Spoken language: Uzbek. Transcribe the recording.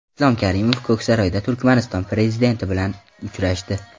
Islom Karimov Ko‘ksaroyda Turkmaniston prezidenti bilan uchrashdi.